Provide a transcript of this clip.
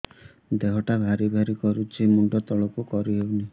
ଦେହଟା ଭାରି ଭାରି କରୁଛି ମୁଣ୍ଡ ତଳକୁ କରି ହେଉନି